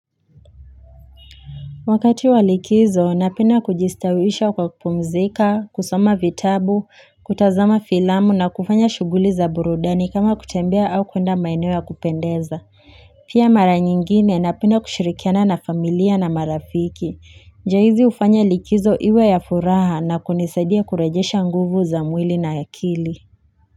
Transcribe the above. Wakati wa likizo, napenda kujistawisha kwa kupumzika, kusoma vitabu, kutazama filamu na kufanya shuguli za burudani kama kutembea au kuenda maeneo ya kupendeza. Pia mara nyingine napenda kushirikiana na familia na marafiki. Njia hizi hufanya likizo iwe ya furaha na kunisadia kurejesha nguvu za mwili na akili.